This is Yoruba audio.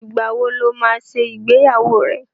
Ìgbà wo lo máa ṣe ìgbéyàwó rẹ?